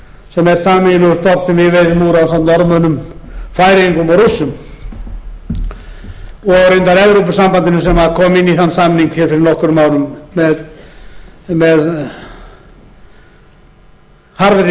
sem er sameiginlegur stofn sem við veiðum úr ásamt norðmönnum færeyingum og rússum og reyndar evrópusambandinu sem kom inn í þann samning fyrir nokkrum árum með harðri kröfu um að fá